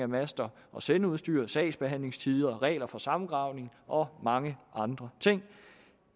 master og sendeudstyr sagsbehandlingstider regler for samgravning og mange andre ting